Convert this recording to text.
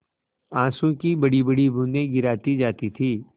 आँसू की बड़ीबड़ी बूँदें गिराती जाती थी